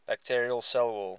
bacterial cell wall